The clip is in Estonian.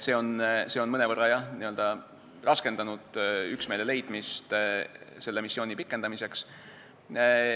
See on mõnevõrra raskendanud üksmeele leidmist selle missiooni pikendamiseks.